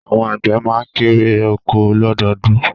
Àwọn àgbẹ̀ má n kérè oko lọ́dọọdún